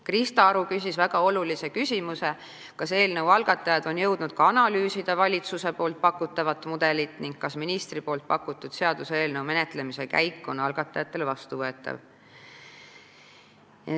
Krista Aru küsis väga olulise küsimuse: kas eelnõu algatajad on jõudnud ka analüüsida valitsuse pakutavat mudelit ning kas ministri ette pandud seaduseelnõu menetlemise käik on algatajatele vastuvõetav.